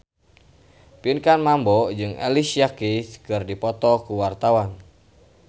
Pinkan Mambo jeung Alicia Keys keur dipoto ku wartawan